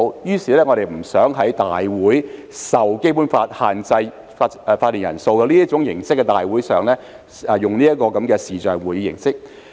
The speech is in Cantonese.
因此，我們不想就立法會會議——受《基本法》限制法定人數的會議——使用視像會議形式。